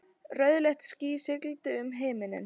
Rauðleitt ský sigldi um himininn.